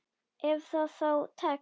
Ef það þá tekst.